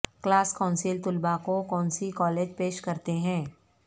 class council طلباء کو کونسی کالج پیش کرتے ہیں